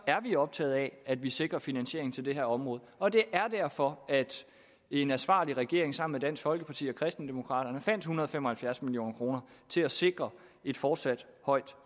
er vi optaget af at vi sikrer finansiering til det her område og det er derfor at en ansvarlig regering sammen med dansk folkeparti og kristendemokraterne fandt en hundrede og fem og halvfjerds million kroner til at sikre et fortsat højt